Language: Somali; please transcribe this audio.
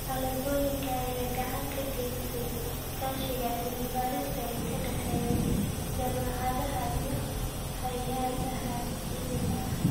Alaabooyinka ayaa gacan ka geysta iskaashiga cilmi-baarista ee ka dhexeeya jaamacadaha iyo hay'adaha caalamiga ah.